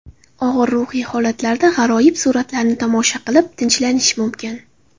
Og‘ir ruhiy holatlarda g‘aroyib suratlarni tomosha qilib, tinchlanish mumkin.